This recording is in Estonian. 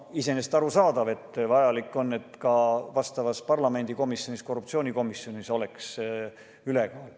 Iseenesest arusaadav – vajalik on, et ka vastavas parlamendikomisjonis, korruptsioonikomisjonis oleks koalitsiooni ülekaal.